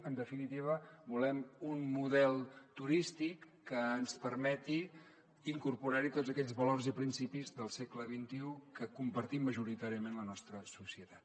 en definitiva volem un model turístic que ens permeti incorporar hi tots aquells valors i principis del segle xxi que compartim majoritàriament la nostra societat